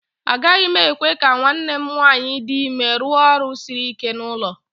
Agaghị m ekwe ka nwanne m nwanyị dị ime rụọ ọrụ siri ike n'ụlọ